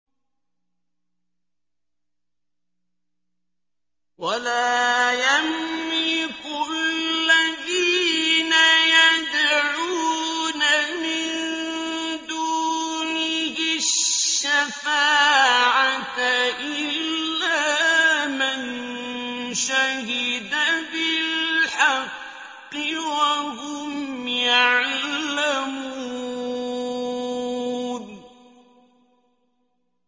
وَلَا يَمْلِكُ الَّذِينَ يَدْعُونَ مِن دُونِهِ الشَّفَاعَةَ إِلَّا مَن شَهِدَ بِالْحَقِّ وَهُمْ يَعْلَمُونَ